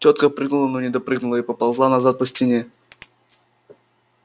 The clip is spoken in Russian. тётка прыгнула но не допрыгнула и поползла назад по стене